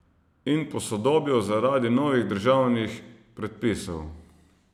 In posodobil zaradi novih državnih predpisov.